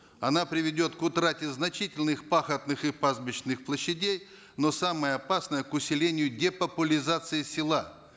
она приведет к утрате значительных пахотных и пастбищных площадей но самое опасное к усилению депопулизации села